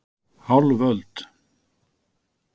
Hálf öld.